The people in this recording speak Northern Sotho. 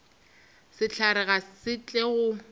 sehlare ga se tle go